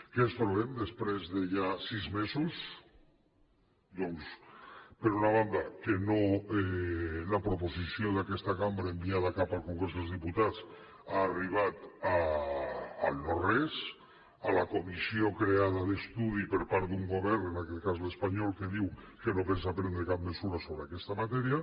què ens trobem després de ja sis mesos doncs per una banda que la proposició d’aquesta cambra enviada cap al congrés dels diputats ha arribat al no res a la comissió creada d’estudi per part d’un govern en aquell cas l’espanyol que diu que no pensa prendre cap mesura sobre aquesta matèria